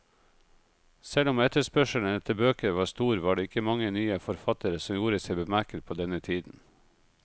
Selv om etterspørselen etter bøker var stor, var det ikke mange nye forfattere som gjorde seg bemerket på denne tiden.